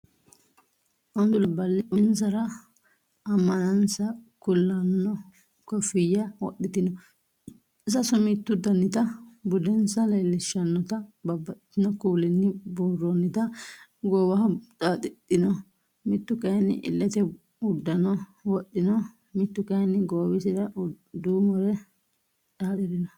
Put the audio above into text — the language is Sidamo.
Ontu labballi uminsara ammanansa kulanno kooffiyya wodhitino sasu mittu Danita budensa leeshshannota babbaxino kuulinni buurroonnita goowaho xaaxidhino mittu kayinni illete uddano wodhino mittu kayinni goowisira duumore xaaxirino